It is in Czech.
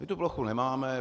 My tu plochu nemáme.